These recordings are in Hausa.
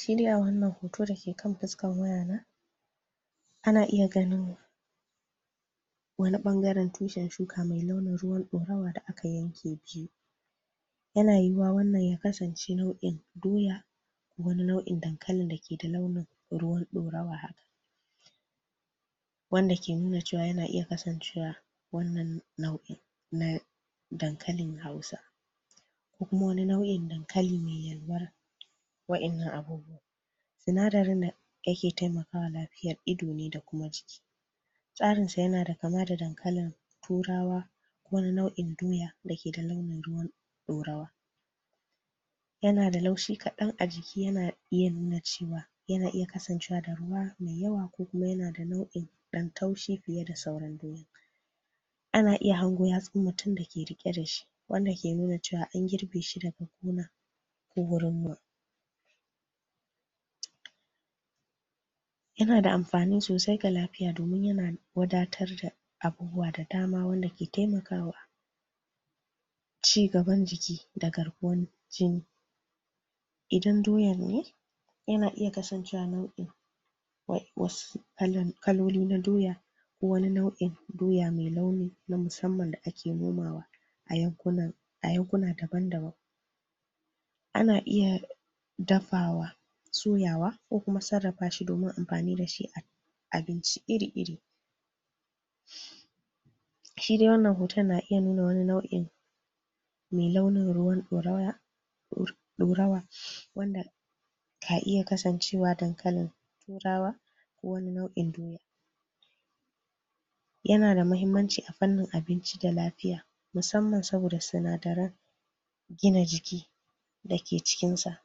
Shi dai a wannan hoto da ke kan fuskar wayata ana iya ganin wani ɓangaren tushen shuka mai launijn ruwan dorawa da aka yanke biyu Yana yiwuwa wannan ya kasance nau'in doya, wani nau'in dankalin da ke da launin ruwan ɗorawa wanda ke nuna cewa yana iya kasancewa wannan nau'in na dankalin Hausa ko kuma wani nau'in dankali mai yalwar waɗannan abubuwan sinadarin da ke taimaka wa lafiyar ido ne da kuma jiki. Tsarinsa yana da kama da dankalin Turawa, wani nau'in doya da ke da launin ruwan ɗorawa. Yana da laushi kaɗan a jiki, yana iya nuna cewa yana iya kasancewa da ruwa mai yawa ko kuma yana da nau'in ɗan taushi fiye da sauran goyon. Ana iya hango yatsun mutum da ke riƙe da shi wanda ke nuna cewa an girbe shi da buhuna ko warama. Yana amfani sosai ga lafiya domin yana wadatar da abubuwa da dama wanda ke taimaka wa ci gaban jiki da garkuwar jini. Idan doyar ne, yana iya kasancewa nau'in wasu kaloli na doya wani nau'in doya mai launi na musamman da ake nunawa a yankuna daban-daban Ana iya dafawa, soyawa ko kuma sarrafa shi domin amfani da shi a abinci iri-iri Shi dai wannan hoton na iya nuna wani nau'in mai launin ruwan ɗorawa wanda ka iya kasancewa dankalin Turawa ko wani nau'in doya. Yana da muhimmanci a fannin abinci da lafiya, musamman saboda sinadaran gina jiki da ke cikinsa.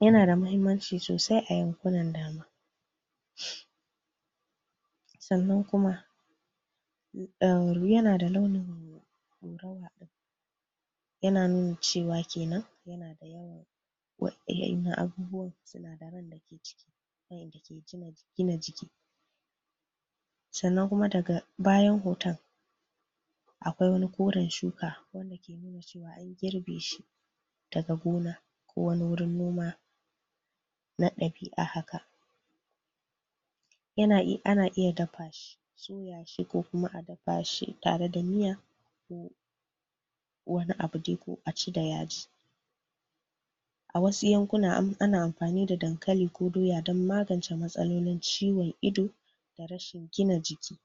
Yana da muhimman sosai a yankunan sannan kuma yana da launin Yana nuna cewa ke nan yana da yawan waɗannan abubuwan sinadaran da ke ciki waɗanda ke gina jiki Sannan kuma daga bayan hoton akwai wani koren shuka da ke nuna cewa an girbe shi daga gona ko wani wurin noma na ɗabi'a haka Ana iya dafa shi, soya shi ko kuma a dafa shi tare da miya wani abu dai ko a ci da yaji Wasu yankuna ana amfani da dankali ko doya don magance matsalolin ciwon ido da rashin gina jiki.